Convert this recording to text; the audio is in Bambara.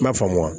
N m'a faamu wa